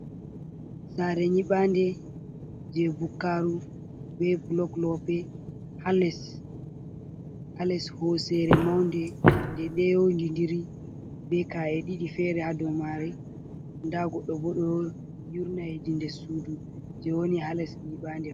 Saare nyibande je bukkaru be blok lope, ha les hosere maunde nde ɗo yondindiri be kae ɗiɗi fere ha dow mare, nda goɗɗo bo ɗo yurna hedi nder sudu je woni ha les nyibande.